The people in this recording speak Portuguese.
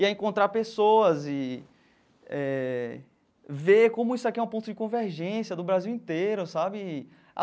E a encontrar pessoas e eh ver como isso aqui é um ponto de convergência do Brasil inteiro, sabe?